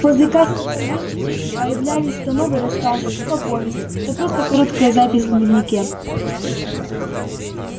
после каждой поездки появлялись то новый рассказ то повесть то просто короткая запись в дневнике